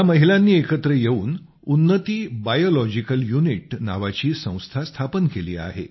या महिलांनी एकत्र येऊन उन्नती बायोलॉजिकल युनिट नावाची संस्था स्थापन केली आहे